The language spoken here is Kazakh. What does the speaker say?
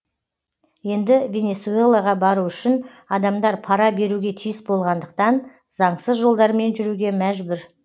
енді венесуэлаға бару үшін адамдар пара беруге тиіс болғандықтан заңсыз жолдармен жүруге мәжбүр